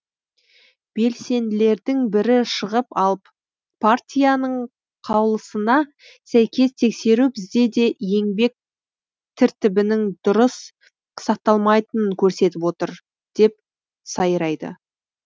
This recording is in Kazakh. белсенділердің бірі шығып алып партияның қаулысына сәйкес тексеру бізде де еңбек тіртібінің дұрыс сақталмайтынын көрсетіп отыр деп сайрайды